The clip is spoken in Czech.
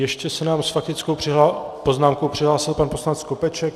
Ještě se nám s faktickou poznámkou přihlásil pan poslanec Skopeček.